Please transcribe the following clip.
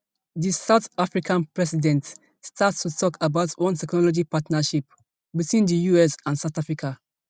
di south african president start to tok about one technology partnership between di us and south africa